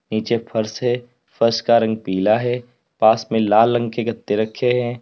नीचे फर्श है फर्श का रंग पीला है पास में लाल रंग के गत्ते रखे हैं।